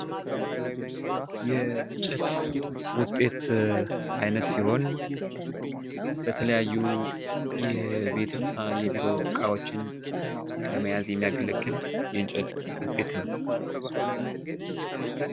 የእንጨት አይነት ወጤት ሲሆን ለተለያዩ የቤት እና የቢሮ እቃዎችን ለመያዝ የሚያገለግል የእንቸት ውጤት ነው።